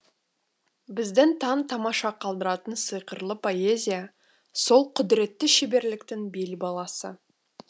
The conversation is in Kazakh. бізді таң тамаша қалдыратын сиқырлы поэзия солқұдіретті шеберліктің бел баласы